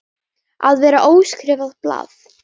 Að vera óskrifað blað